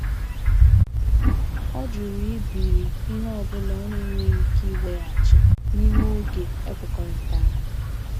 Ọ jụrụ ibiri ihe ọ bụla ọ na-enweghị ike ịweghachi n'ime oge ekwekọrịtara.